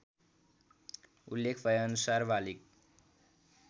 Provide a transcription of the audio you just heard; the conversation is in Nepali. उल्लेख भएअनुसार बालिग